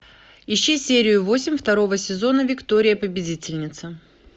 ищи серию восемь второго сезона виктория победительница